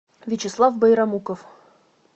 вячеслав байрамуков